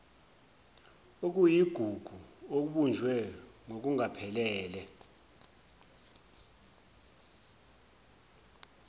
okuyigugu okubunjwe ngokungaphelele